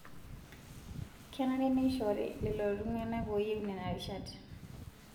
Kenare neishori lelo tung'ana ooyieu nena rishat